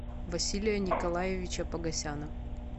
василия николаевича погосяна